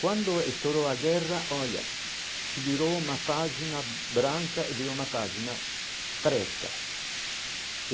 Quando estourou a guerra, olha, se virou uma página branca e veio uma página preta.